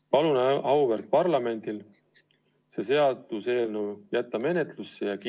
Palun auväärt parlamendil see seaduseelnõu menetlusse jätta ja heaks kiita!